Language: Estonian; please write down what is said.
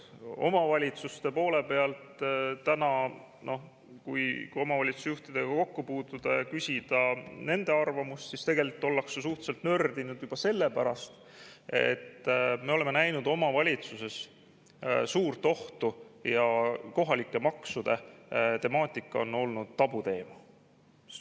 Omavalitsuste poole pealt, kui täna omavalitsusjuhtidega kokku puutuda ja küsida nende arvamust, siis tegelikult ollakse suhteliselt nördinud juba sellepärast, et me oleme näinud omavalitsuses suurt ohtu ja kohalike maksude temaatika on olnud tabuteema.